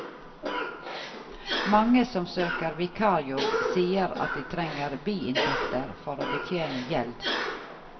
Mange som søker vikarjobb sier at de trenger biinntekter for å betjene gjeld.